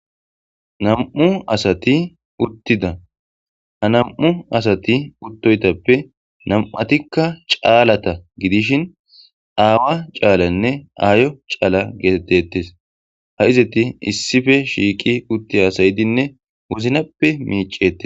nam7u asati uttida ha nam7u asati uttoytappe nam7atikka caalata gidishin aawa caalaynne aayo caala geetettettes ha izati issife shiiki utti haasayidinne woznappe miicete